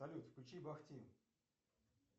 салют включи бахти